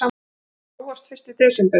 Það er óvart fyrsti desember.